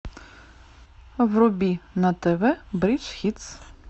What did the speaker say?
вруби на тв бридж хитс